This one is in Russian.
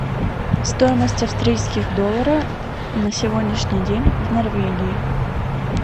стоимость австрийских доллара на сегодняшний день в норвегии